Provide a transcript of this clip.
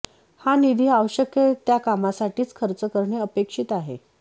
हा निधी आवश्यक त्या कामांसाठीच खर्च करणे अपेक्षित आहे